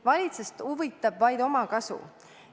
Valitsust huvitab vaid omakasu.